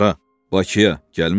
Hara, Bakıya?